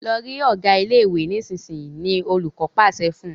Lọ rí Ọgá ilé ìwé nísìsiyìí! ni olùkó pàṣẹ fún